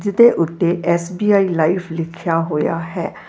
ਉੱਤੇ SBI life ਲਿਖਿਆ ਹੋਇਆ ਹੈ ।